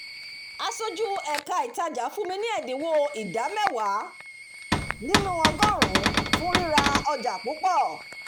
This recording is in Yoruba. aṣojú ẹka ìtajà fún mi ní ẹ̀dínwó ìdá mẹ́wàá nínú ọgọ́rùnún fún rira ọjà púpọ̀